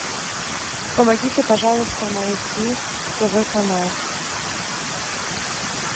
помогите пожалуйста найти тв канал